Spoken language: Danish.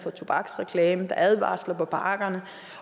tobaksreklamer der er advarsler på pakkerne